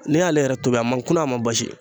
N'i y'ale yɛrɛ tobi a man kuna a man basi